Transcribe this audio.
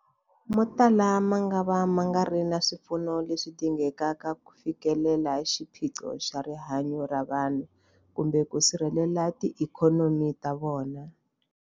Motala mangava ma nga ri na swipfuno leswi dingekaka ku fikelela xiphiqo xa rihanyu ra vanhu kumbe ku sirhelela tiikhonomi ta vona.